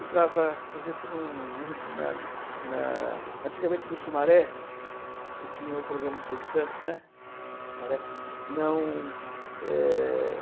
entrava, por exemplo, em um em um, na na antigamente no Sumaré, que tinha o programa do Silvio Santos, né. Não, é...